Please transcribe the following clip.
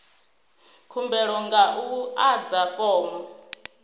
khumbelo nga u adza fomo